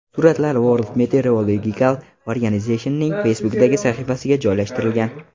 Suratlar World Meteorological Organization’ning Facebook’dagi sahifasiga joylashtirilgan .